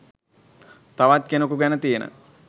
තවත් කෙනෙකු ගැන තියෙන